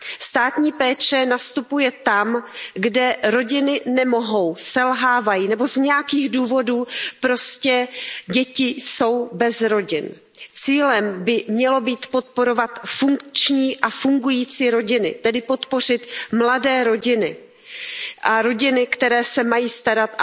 Státní péče nastupuje tam, kde rodiny nemohou, selhávají nebo z nějakých důvodů prostě děti jsou bez rodin. Cílem by mělo být podporovat funkční a fungující rodiny, tedy podpořit mladé rodiny a rodiny, které se mají a